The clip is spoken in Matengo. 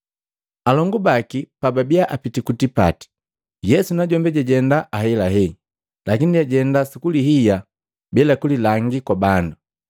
Alongu baki pababiya apiti ku tipati, Yesu najombi jajenda ahelahe, lakini jajenda sukulihiya bila kulilangi kwa bandu.